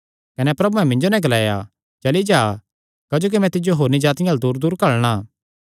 कने प्रभुयैं मिन्जो नैं ग्लाया चली जा क्जोकि मैं तिज्जो होरनी जातिआं अल्ल दूरदूर घल्लणा